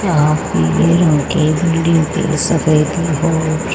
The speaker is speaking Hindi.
य हां पे पीले रंग की बिल्डिंग सफेद और--